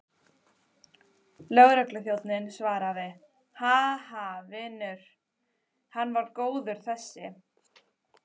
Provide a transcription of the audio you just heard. Lögregluþjónninn svaraði, Ha, ha, vinur, hann var góður þessi.